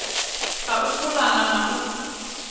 ha u pulana na u